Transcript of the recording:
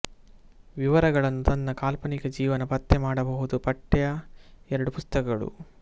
ವಿವರಗಳನ್ನು ತನ್ನ ಕಾಲ್ಪನಿಕ ಜೀವನ ಪತ್ತೆ ಮಾಡಬಹುದು ಪಠ್ಯ ಎರಡು ಪುಸ್ತಕಗಳು